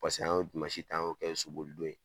Paseke an y'o dimansi ta a y'o kɛ soboli don ye.